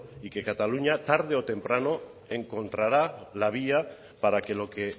y que cataluña tarde o temprano encontrará la vía para que lo que